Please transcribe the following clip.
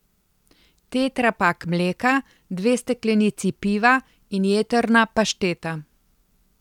Tetrapak mleka, dve steklenici piva in jetrna pašteta.